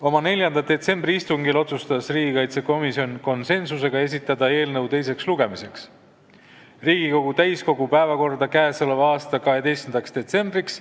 Oma 4. detsembri istungil otsustas riigikaitsekomisjon konsensusega esitada eelnõu teiseks lugemiseks Riigikogu täiskogu päevakorda 12. detsembriks.